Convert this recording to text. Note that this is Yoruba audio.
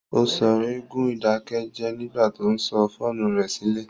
Ó sọ̀rọ̀ ègún ìdákẹ́jẹ́ẹ́ nígbà tó sọ fóònù rẹ̀ sílẹ̀